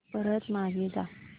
परत मागे जा